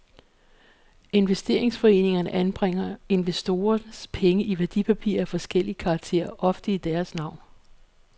Investeringsforeningerne anbringer investorernes penge i værdipapirer af forskellig karakter, ofte nævnt i deres navn.